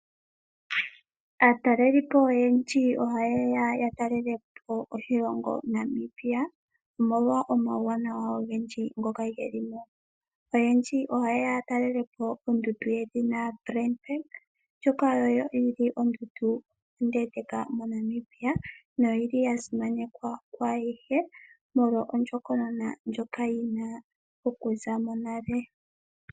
Aatalelipo oyendji ohaye ya oku talelapo oshilongo Namibia, omolwa omauwanawa ogendji ngoka geli mo. Oyendji ohaye ya yatalelepo ondundu lyoka yedhina Tranfed, oshoka oyo yili ondundu onde moNamibia noyili yasimanekwa kwayehe molwa ondjokonona ndjoka yina okuza monale.